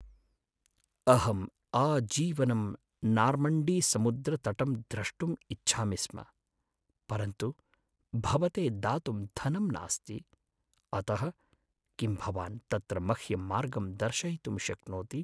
अहम् आजीवनं नार्मण्डीसमुद्रतटं द्रष्टुम् इच्छामि स्म, परन्तु भवते दातुं धनं नास्ति, अतः किं भवान् तत्र मह्यं मार्गं दर्शयितुं शक्नोति?